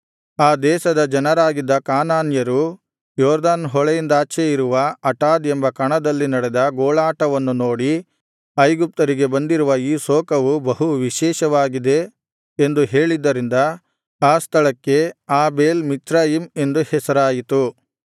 ಆ ದೇಶದ ಜನರಾಗಿದ್ದ ಕಾನಾನ್ಯರು ಯೊರ್ದನ್ ಹೊಳೆಯಿಂದಾಚೆ ಇರುವ ಆಟಾದ್ ಎಂಬ ಕಣದಲ್ಲಿ ನಡೆದ ಗೋಳಾಟವನ್ನು ನೋಡಿ ಐಗುಪ್ತರಿಗೆ ಬಂದಿರುವ ಈ ಶೋಕವು ಬಹು ವಿಶೇಷವಾಗಿದೆ ಎಂದು ಹೇಳಿದ್ದರಿಂದ ಆ ಸ್ಥಳಕ್ಕೆ ಆಬೇಲ್ ಮಿಚ್ರಯಿಮ್ ಎಂದು ಹೆಸರಾಯಿತು